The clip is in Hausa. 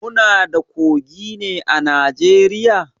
Muna da kogi ne a Najeriya?